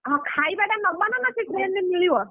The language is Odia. ହଁ ଖାଇବା ଟା ନବା ନା ସେ train ରେ ମିଳିବ?